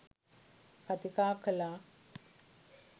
කතිකා කළා.